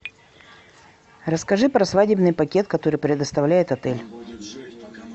расскажи про свадебный пакет который предоставляет отель